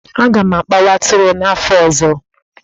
Aga m akpawa atụrụ n'afọ ọzọ.